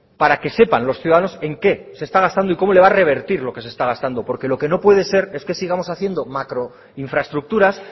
para que sepan los ciudadanos en qué se está gastando y cómo le va a revertir lo que se está gastando porque lo que no puede ser es que sigamos haciendo macro infraestructuras